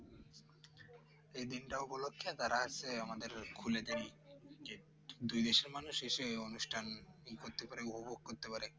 এই দিনটা উপলক্ষে তারা হয়েছে আমাদের খুলে দেয় Gate দুই দেশের মানুষ এসে অনুষ্ঠান ই করতে পারে উপভোগ করতে পারে